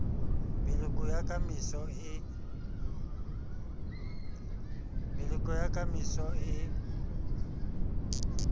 meloko ya ka moso e